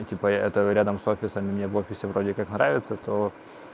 типа я это рядом с офисом мне в офисе вроде как нравится то